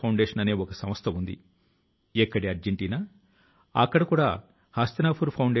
కానీ అక్కడికి వెళ్ళి తెలిసో తెలియకో చెత్త ను కూడా వ్యాపింప జేస్తారు